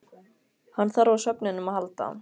Hann þarf á svefninum að halda.